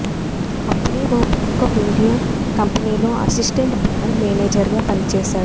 అప్పుడే ఓ ప్రముఖ మీడియా కంపెనీలో అసిస్టెంట్ బ్రాండ్ మేనేజర్గా పనిచేశాడు